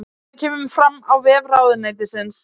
Þetta kemur fram á vef ráðuneytisins